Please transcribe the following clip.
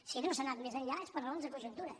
si no s’ha anat més enllà és per raons de conjuntura